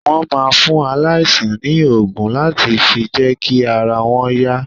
Wọ́n máa ń fún aláìsàn ní ògùn láti fi jẹ́kí ara wọn yá